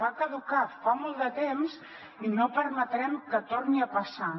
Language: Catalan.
va caducar fa molt de temps i no permetrem que torni a passar